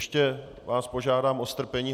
Ještě vás požádám o strpení.